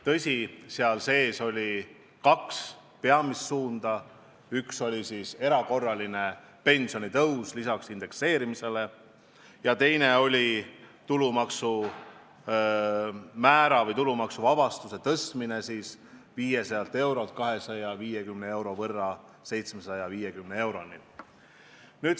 Tõsi, selles oli kaks peamist suunda: üks oli erakorraline pensionitõus lisaks indekseerimisele ja teine oli tulumaksuvaba määra tõstmine 500 eurolt 250 euro võrra 750 euroni.